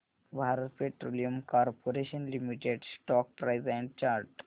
Bharat Petroleum Corporation Limited stock price and chart